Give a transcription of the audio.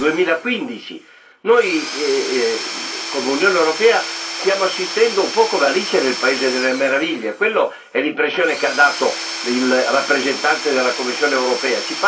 2015. Noi, come Unione europea, stiamo assistendo un po' come Alice nel paese delle meraviglie, questa è l'impressione che ha dato il rappresentante della Commissione europea.